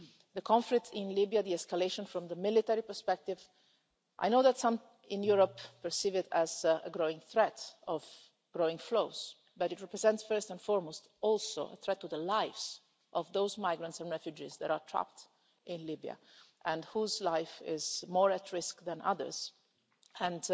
The conflict in Libya, the escalation from the military perspective I know that some in Europe perceive it as a growing threat of growing flows, but it also represents first and foremost a threat to the lives of those migrants and refugees that are trapped in Libya and whose lives are more at risk than others, and